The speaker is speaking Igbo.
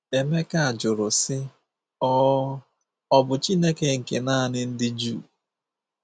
Emeka jụrụ sị, “ Ọ̀ “ Ọ̀ bụ Chineke nke nanị ndị Juu?